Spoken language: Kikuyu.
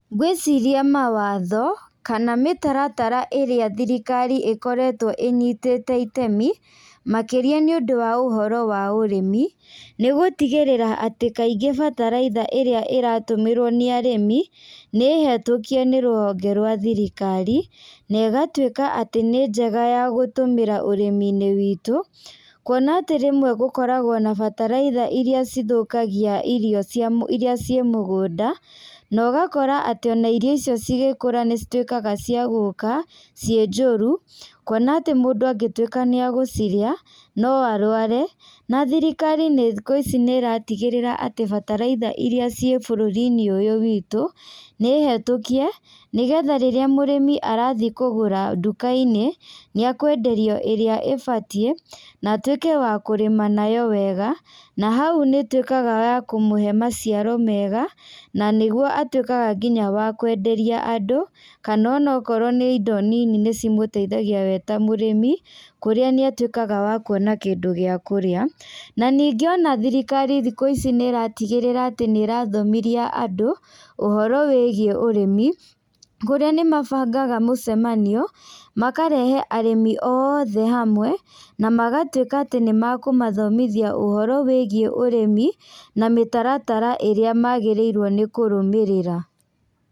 Ngwĩciria mawatho, kana mĩtaratara ĩrĩa thirikari ĩkoretwo ĩnyitĩte itemi, makĩria nĩũndũ wa ũhoro wa ũrĩmi, nĩgũtigĩrĩra atĩ kaingĩ bataraitha ĩrĩa ĩratũmĩrwo nĩ arĩmi, nĩ hetũkie nĩ rũhonge rwa thirikari, na ĩgatuĩka atĩ nĩ njega ya gũtũmĩra ũrĩminĩ witũ, kuona atĩ rĩmwe gũkoragwo na bataraitha iria cithũkagia irio cia mũ iria ciĩ mũgũnda, na ũgakora atĩ ona irio icio cigĩkũrũ nĩcituĩkaga cia gũka ciĩ njũru, kuona atĩ mũndũ angĩtuĩka nĩ agũcirĩa, no arware, na thirikari thikũ ici nĩratigĩrĩra atĩ bataraitha iria ciĩ bũrũrinĩ ũyũ witũ, nĩ hetũkie, nĩgetha rĩrĩa mũrĩmi arathiĩ kũgũra ndukainĩ, nĩakwenderio ĩrĩa ĩbatiĩ, na atuĩke wa kũrĩma nayo wega, na hau nĩituĩkaga ya kũmũhe maciaro mega, na nĩguo atuĩkaga nginya wa kwenderia andũ, kana ona okorwo nĩ indo nini nĩcimũteithagia we ta mũĩmi, kũrĩa nĩatuĩkaga wa kuona kĩndũ gĩa kũrĩa, na ningĩ ona thirikari thikũ ici nĩratigĩrĩra atĩ nĩrathomithia andũ ũhoro wĩgiĩ ũrĩmi, kũrĩa nĩmabangaga mũcemanio, makarehe arĩmi othe hamwe, na magatuĩka atĩ nĩmakũmathomithia ũhoro wĩgiĩ ũrĩmi, na mĩtaratara ĩrĩa magĩrĩirwo nĩ kũrũmĩrĩra.